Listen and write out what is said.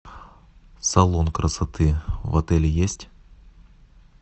салон красоты в отеле есть